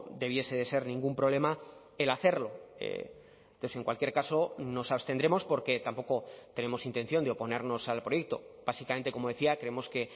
debiese de ser ningún problema el hacerlo entonces en cualquier caso nos abstendremos porque tampoco tenemos intención de oponernos al proyecto básicamente como decía creemos que